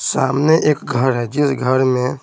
सामने एक घर है जिस घर में--